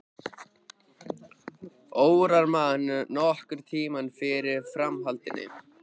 Órar mann nokkurn tímann fyrir framhaldinu.